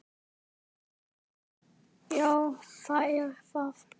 Já, það er það.